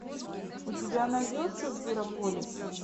у тебя найдется зверополис